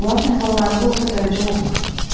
Onların əhvallarında orta dərəcə olmur.